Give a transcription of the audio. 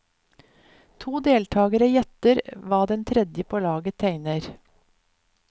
To deltagere gjetter hva den tredje på laget tegner.